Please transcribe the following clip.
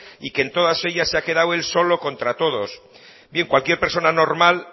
y que en todas ellas se ha quedado él solo contra todos bien cualquier persona normal